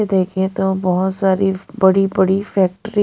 देखें तो बहुत सारी बड़ी-बड़ी फैक्ट्री--